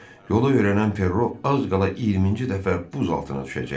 Yolu öyrənən Ferro az qala 20-ci dəfə buz altına düşəcəkdi.